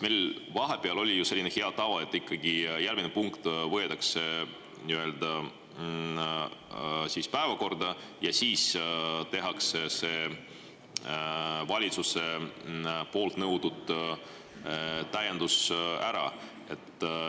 Meil vahepeal oli ju selline hea tava, et ikkagi päevakorras võetakse ette ja siis tehakse see valitsuse poolt nõutud täiendus ära.